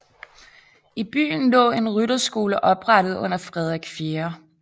I byen lå en rytterskole oprettet under Frederik 4